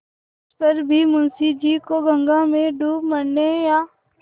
तिस पर भी मुंशी जी को गंगा में डूब मरने या